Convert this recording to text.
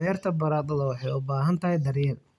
Beerta baradhada waxay u baahan tahay daryeel.